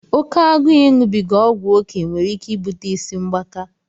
Oke agụụ iṅụbiga ọgwụ oké nwere ike ibute ịsị mgbaka.